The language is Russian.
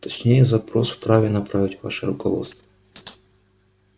точнее запрос вправе направить ваше руководство